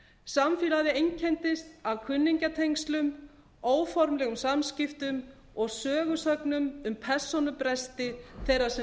samfélagið einkenndist af kunningjatengslum óformlegum samskiptum og sögusögnum um persónubresti þeirra sem